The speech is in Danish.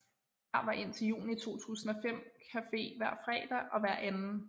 Her var indtil juni 2005 Café hver fredag og hver 2